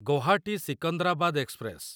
Guwahati Secunderabad express